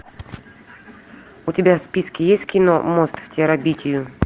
у тебя в списке есть кино мост в терабитию